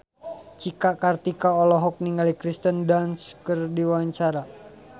Cika Kartika olohok ningali Kirsten Dunst keur diwawancara